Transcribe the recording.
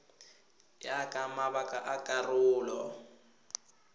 ya ka mabaka a karolo